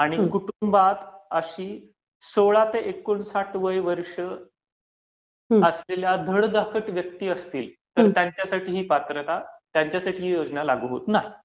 आणि कुटुंबात अशी सोळा ते एकोणसाठ वय वर्ष असलेल्या धडधाकट व्यक्ती असतील, तर त्यांच्यासाठी ही पात्रता, ही योजना लागू होत नाही.